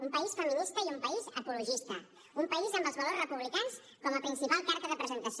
un país feminista i un país ecologista un país amb els valors republicans com a principal carta de presentació